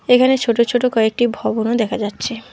এখানে ছোটো ছোটো কয়েকটি ভবন দেখা যাচ্ছে।